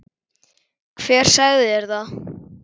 Hver sagði þér það?